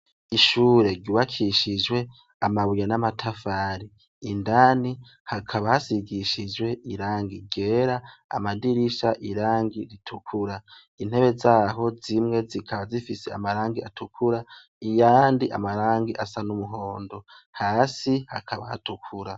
Ishure ryubakishijwe amabuya n'amatafari indani hakaba hasigishijwe irangi gera amadirisha irangi ritukura intebe zaho zimwe zikaba zifise amarangi atukura iyandi amarangi asa n'umuhondo hasi hakaba hatukura.